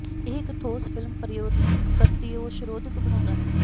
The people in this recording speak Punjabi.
ਇਹ ਇੱਕ ਠੋਸ ਫਿਲਮ ਪਰਤ ਿੌਸਿ ਰੋਧਕ ਬਣਾਉਦਾ ਹੈ